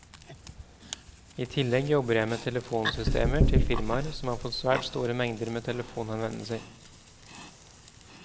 I tillegg jobber jeg med telefonsystemer til firmaer som får svært store mengder med telefonhenvendelser.